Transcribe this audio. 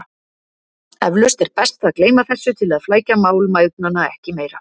Eflaust er best að gleyma þessu til að flækja mál mæðgnanna ekki meira.